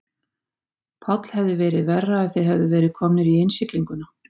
Páll: Hefði verið verra ef þið hefðuð verið komnir í innsiglinguna?